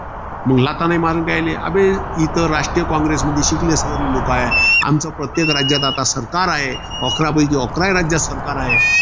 मंग लाथा नी मारून राहिले. अबे, इथे राष्ट्रीय कॉंग्रेसमध्ये शिकले सवरलेले लोकं हाये. आमच्या प्रत्येक राज्यात आता सरकार आहे. अकरा पैकी अकरा राज्यात सरकार आहे.